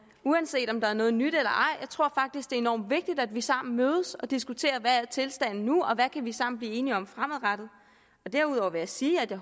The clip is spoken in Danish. uanset om der er noget nyt eller ej jeg tror faktisk det er enormt vigtigt at vi sammen mødes og diskuterer hvad tilstanden er nu og hvad vi sammen kan blive enige om fremadrettet derudover vil jeg sige at jeg